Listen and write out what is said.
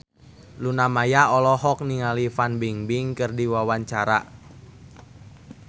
Luna Maya olohok ningali Fan Bingbing keur diwawancara